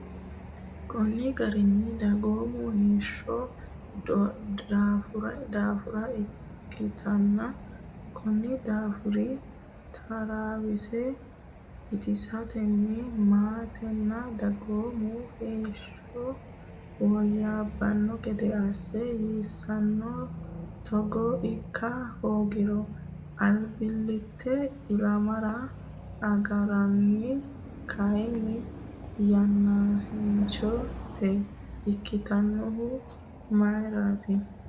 Konni garinni dagoomu heeshsho doofaara ikkitanno. Konni daafira, taraawosi ittisatenni maatenna dagoomu heeshsho woyyaabbanno gede assa hasiissanno Togo ikka hoogiro, albillittete ilamara agarranni kaayyo yaachishshannota ikkitannohu mayirati?